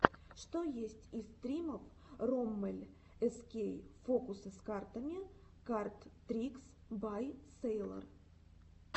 что есть из стримов роммель эскей фокусы с картами кард трикс бай сэйлор